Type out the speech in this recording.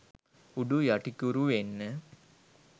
උඩු යටිකුරු වෙන්න